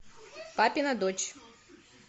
папина дочь